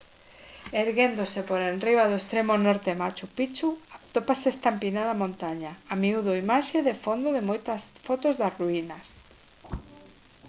erguéndose por enriba do extremo norte de machu picchu atópase esta empinada montaña a miúdo imaxe de fondo de moitas fotos das ruínas